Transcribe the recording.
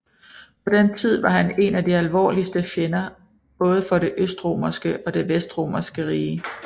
På den tid var han én af de alvorligste fjender både for det østromerske og det vestromerske rige